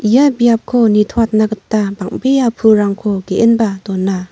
ia biapko nitoatna gita bang·bea pulrangko ge·enba dona.